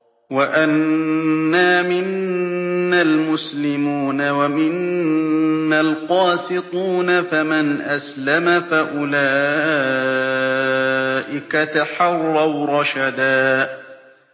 وَأَنَّا مِنَّا الْمُسْلِمُونَ وَمِنَّا الْقَاسِطُونَ ۖ فَمَنْ أَسْلَمَ فَأُولَٰئِكَ تَحَرَّوْا رَشَدًا